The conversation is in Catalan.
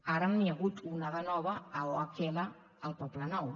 ara n’hi ha hagut una de nova a ohl al poblenou